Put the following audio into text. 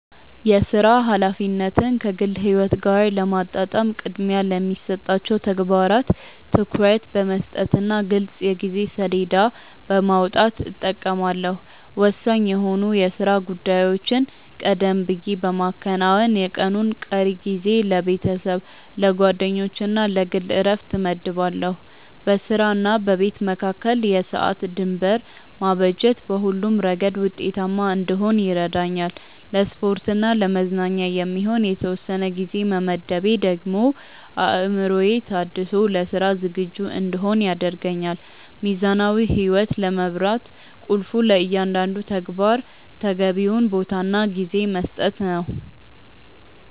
የሥራ ኃላፊነትን ከግል ሕይወት ጋር ለማጣጣም ቅድሚያ ለሚሰጣቸው ተግባራት ትኩረት በመስጠትና ግልጽ የጊዜ ሰሌዳ በማውጣት እጠቀማለሁ። ወሳኝ የሆኑ የሥራ ጉዳዮችን ቀደም ብዬ በማከናወን፣ የቀኑን ቀሪ ጊዜ ለቤተሰብ፣ ለጓደኞችና ለግል ዕረፍት እመድባለሁ። በሥራና በቤት መካከል የሰዓት ድንበር ማበጀት በሁለቱም ረገድ ውጤታማ እንድሆን ይረዳኛል። ለስፖርትና ለመዝናኛ የሚሆን የተወሰነ ጊዜ መመደቤ ደግሞ አእምሮዬ ታድሶ ለሥራ ዝግጁ እንድሆን ያደርገኛል። ሚዛናዊ ሕይወት ለመምራት ቁልፉ ለእያንዳንዱ ተግባር ተገቢውን ቦታና ጊዜ መስጠት ነው።